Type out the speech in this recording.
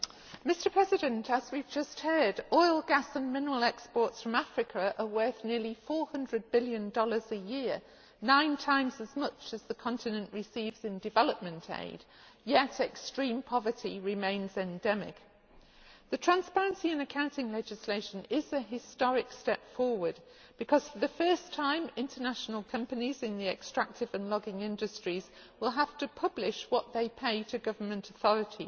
Mr President, as we have just heard, oil, gas and mineral exports from Africa are worth nearly USD 400 billion a year, nine times as much as the continent receives in development aid, yet extreme poverty remains endemic. The transparency and accounting legislation is a historic step forward because, for the first time, international companies in the extractive and logging industries will have to publish what they pay to government authorities